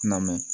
Na mɛn